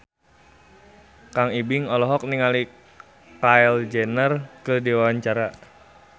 Kang Ibing olohok ningali Kylie Jenner keur diwawancara